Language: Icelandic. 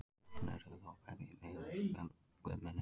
Sjaldan eru þau þó beygð í öðrum föllum en eignarfalli.